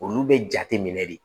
Olu bɛ jate minɛ de